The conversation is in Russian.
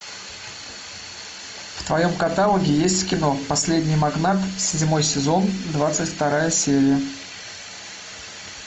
в твоем каталоге есть кино последний магнат седьмой сезон двадцать вторая серия